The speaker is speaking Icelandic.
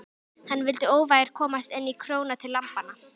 Hann vildi óvægur komast inn í króna til lambanna.